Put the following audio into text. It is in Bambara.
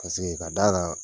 Paseke ka d'a kan